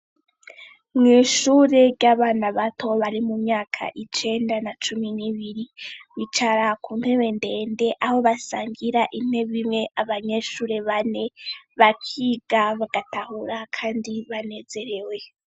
Mw’ishure ry’abana bato bari mu myaka cumi n’ibiri bicara ku ntebe ndende aho basangira intebe abanyeshure bane bakiga bagatahura kandi banezerewe.